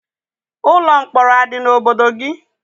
Ụlọ mkpọrọ a dị n'obodo gị?